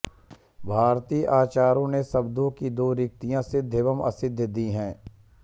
भारतीय आचार्यों ने शब्दों की दो स्थितियाँ सिद्ध एवं असिद्ध दी हैं